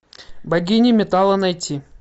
богиня металла найти